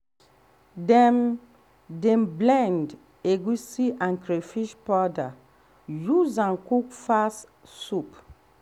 dem um dey um blend egusi and crayfish powder use am cook fast soup.